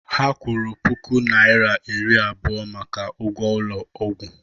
Ha kwụrụ puku naira iri abụọ maka ụgwọ ụlọ ọgwụ